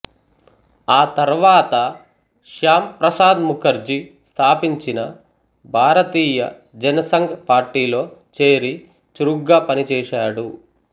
ఆ తర్వాత శ్యాం ప్రసాద్ ముఖర్జీ స్థాపించిన భారతీయ జనసంఘ్ పార్టీలో చేరి చురుగ్గా పనిచేశాడు